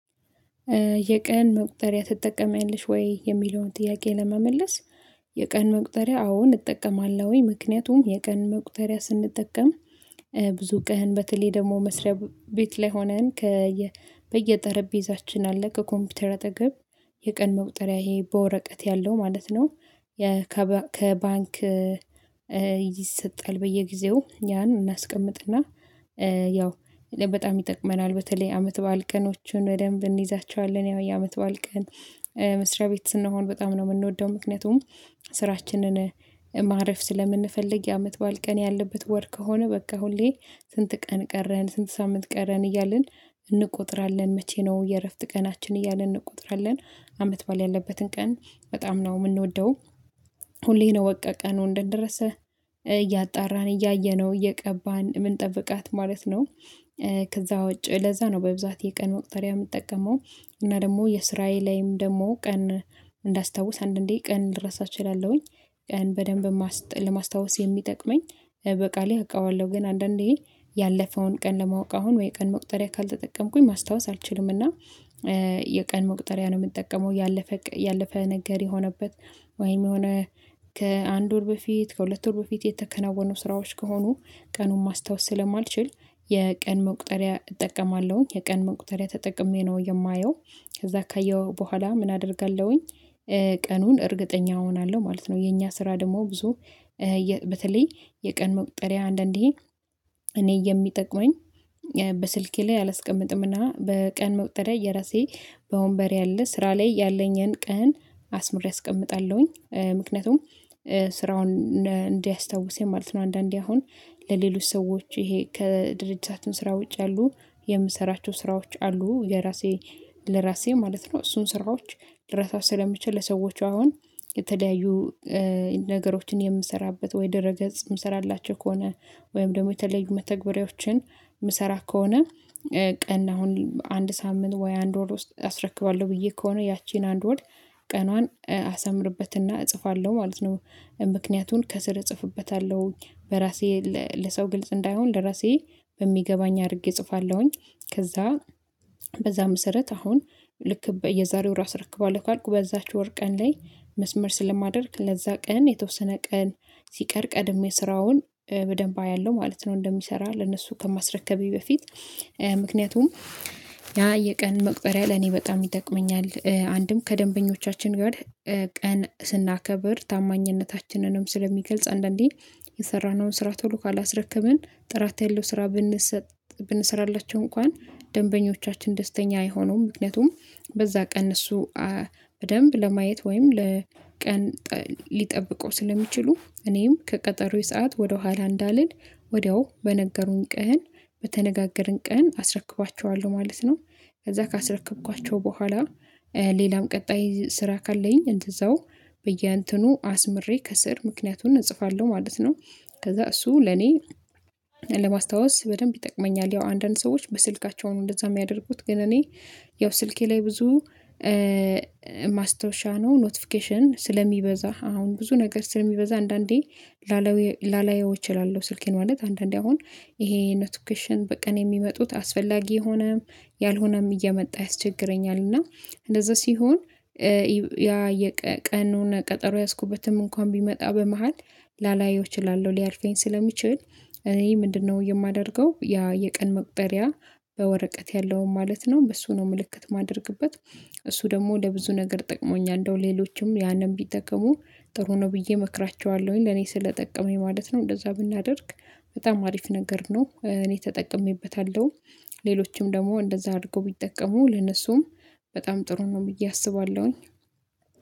የቀን መቁጠሪያ ትጠቀሚያለሽወይ? የሚለውን ጥያቄ ለመመለስ የቀን መቁጠሪያ አዎ እጠቀማለሁኝ ምክንያቱም የቀን መቁጠሪያ ስንጠቀም ብዙ ቀን በተለይ ደግሞ መስሪያ ቤት ላይ ሆነን ከየ በየጠረጴዛችን አለ ከኮምፒውተር አጠገብ የቀን መቁጠሪያ ይሄ በወረቀት ያለው ማለት ነው። ከባንክ ይሰጣል በየጊዜው ያን እናስቀምጥና ያው በጣም ይጠቅመናል በተለይ አመት በዓል ቀኖቹን በደንብ እንይዛቸዋለን ያው የአመት በዓል ቀን መስሪያ ቤት ስንሆን በጣም ነው የምንወደው። ምክንያቱም ስራችንን ማረፍ ስለምንፈልግ የአመት በዓል ቀን ያለበት ወር ከሆነ በቃ ሁሌ ስንት ቀን ቀረን ስንት ሳምንት ቀረን እያልን እንቆጥራለን መቼ ነው የእረፍት ቀናችን እያልን እንቆጥራለን። አመት ባል ያለበትን ቀን በጣም ነው የምንወደው። ሁሌ ነው በቃ ቀኑ እንደደረሰ እያጣራን እያየነው እየቀባን የምንጠብቃት ማለት ነው። ከዛ ውጪ ለዛ ነው በብዛት የቀን መቁጠሪያ የምጠቀመው እና ደግሞ የስራየ ላይም ደሞ ቀን እንዳስታውስ አንዳንዴ ቀን ልረሳ እችላለሁኝ። ቀን በደንብ ለማስታወስ የሚጠቅመኝ በቃሌ አውቃለሁ ግን አንዳንዴ ያለፈውን ቀን ለማወቅ አሁን ወይ ቀን መቁጠሪያ ካልተጠቀምኩኝ ማስታወስ አልችልምና። የቀን መቁጠሪያ ነው የምጠቀመው ያለፈ ያለፈ ነገር የሆነበት ወይም የሆነ ከአንድ ወር በፊት ከሁለት ወር በፊት የተከናወኑ ስራዎች ከሆኑ ቀኑን ማስታወስ ስለማልችል የቀን መቁጠሪያ እጠቀማለሁኝ የቀን መቁጠሪያ ተጠቅሜ ነው የማየው። ከዛ ካየሁ በኋላ ምን አደርጋለሁኝ? ቀኑን እርግጠኛ እሆናለሁ ማለት ነው። የኛ ስራ ደግሞ ብዙ በተለይ የቀን መቁጠሪያ አንዳንዴ እኔ የሚጠቅመኝ በስልኬ ላይ አላስቀምጥምና በቀን መቁጠሪያ የራሴ በወንበር ያለ ስራ ላይ ያለኝን ቀን አስምሬ አስቀምጣለሁኝ። ምክንያቱም ስራውን እንዲያስታውሰኝ ማለት ነው አንዳንዴ አሁን ለሌሎች ሰዎች ይሄ ከድርጅታችን ስራ ውጭ ያሉ የምሰራቸው ስራዎች አሉ ለራሴ ለራሴ ማለት ነው። እሱን ስራዎች ልረሳው ስለምችል ለሰዎቹ አሁን የተለያዩ ነገሮችን የምሰራበት ወይ ድህረ ገጽ የምሰራላቸው ከሆነ ወይም ደግሞ የተለዩ መተግበሪያዎችን የምሰራ ከሆነ ቀን አሁን አንድ ሳምንት ወይ አንድ ወር ውስጥ አስረክባለሁ ብዬ ከሆነ ያቺን አንድ ወር ቀኗን አሰምርበትና እጽፋለሁ ማለት ነው ምክንያቱን ከስር እጽፍበታለሁ በራሴ ለሰው ግልጽ እንዳይሆን ለራሴ በሚገባኝ አድርጌ እጽፋለሁኝ። ከዛ በዛ መሰረት አሁን ልክ በየዛሬው ወር አሰረክባለሁ ካልኩ በዛች ወር ቀን ላይ መስመር ስለማደርግ ለዛ ቀን የተወሰነ ቀን ሲቀር ቀድሜ ስራውን በደንብ አያለሁ ማለት ነው። እንደሚሰራ ለነሱ ከማስረከቤ በፊት ምክንያቱም ያ የቀን መቁጠሪያ ለኔ በጣም ይጠቅመኛል። አንድም ከደንበኞቻችን ጋር ቀን ስናከብር ታማኝነታችንንም ስለሚገልጽ አንዳንዴ የሰራነውን ስራ ቶሎ ካላስረከብን ጥራት ያለው ስራ ብንሰጥ ብንሰራላቸው እንኳን ደንበኞቻችን ደስተኛ አይሆኑም ምክንያቱም በዛ ቀን እነሱ በደንብ ለማየት ወይም ለቀን ሊጠብቀ ስለሚችሉ እኔም ከቀጠሮዬ ሰዓት ወደኋላ እንዳልል ወዲያው በነገሩኝ ቀን በተነጋገርን ቀን አስረክባቸዋለሁ ማለት ነው። ከዛ ካስረክኳቸው በኋላ ሌላም ቀጣይ ስራ ካለኝ እንደዛው በየእንተኑ አስምሬ ከስር ምክንያቱን እጽፋለሁ ማለት ነው። ከዛ እሱ ለኔ ለማስታወስ በደንብ ይጠቅመኛል። ያው አንዳንድ ሰዎች በስልካቸውን እንደዛ የሚያደርጉት ግን እኔ ያው ስልኬ ላይ ብዙ ማስታወሻ ነው ኖቲፊኬሽን ስለሚበዛ አሁን ብዙ ነገር ስለሚበዛ አንዳንዴ ላላየው እችላለሁ ስልኬን ማለት አንዳንዴ አሁን ይሄ ኖቲፊኬሽን በቀን የሚመጡት አስፈላጊ ሆነም ያልሆነም እየመጣ ያስቸግረኛል እና እንደዛ ሲሆን ያ የቀኑን ቀጠሮ የያዝኩበትም እንኳን ቢመጣ በመሃል ላላየው እችላለሁ ሊያልፈኝ ስለሚችል። እኔ ምንድነው የማደርገው? ያ የቀን መቁጠሪያ በወረቀት ያለውን ማለት ነው በሱ ነው ምልክት የማደርግበት። እሱ ደግሞ ለብዙ ነገር ጠቅሞኛል እንደው ሌሎችም ያንን ቢጠቀሙ ጥሩ ነው ብዬ እመክራቸዋለሁኝ ለኔ ስለጠቀመኝ ማለት ነው። እንደዛ ብናደርግ በጣም አሪፍ ነገር ነው እኔ ተጠቅሜበታለሁ። ሌሎችም ደግሞ እንደዛ አድርገው ቢጠቀሙ ለነሱም በጣም ጥሩ ነው ብዬ አስባለሁኝ።